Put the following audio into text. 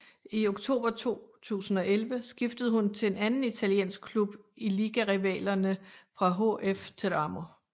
I oktober 2011 skiftede hun til en anden italiensk klub i ligarivalerne fra HF Teramo